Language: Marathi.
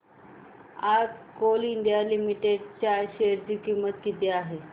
आज कोल इंडिया लिमिटेड च्या शेअर ची किंमत किती आहे